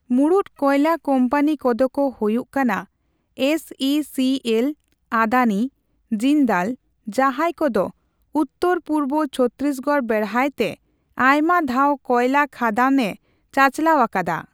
ᱢᱩᱬᱩᱫ ᱠᱚᱭᱞᱟ ᱠᱳᱢᱯᱟᱱᱤ ᱠᱚᱫᱚ ᱠᱚ ᱦᱩᱭᱩᱜ ᱠᱟᱱᱟ S E C L, Adani, Jindal ᱡᱟᱦᱟᱭ ᱠᱚᱫᱚ ᱩᱛᱛᱚᱨ ᱯᱩᱨᱵᱚ ᱪᱷᱚᱛᱛᱤᱥᱜᱚᱲ ᱵᱮᱲᱦᱟᱭᱛᱮ ᱟᱭᱢᱟ ᱫᱷᱟᱣ ᱠᱚᱭᱞᱟ ᱠᱷᱟᱹᱫᱟᱹᱱᱮ ᱪᱟᱪᱟᱞᱟᱣ ᱟᱠᱟᱫᱟ ᱾